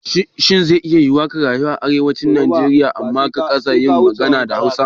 Shin ze iya yiwuwa ka rayu a Arewacin Najeriya amma ka kasa yin magana da Hausa?